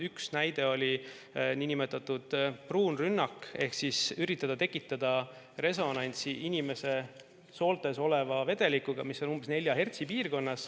Üks näide oli niinimetatud pruun rünnak ehk üritati tekitada resonantsi inimese sooltes oleva vedelikuga, mis jääb umbes 4 hertsi piirkonda.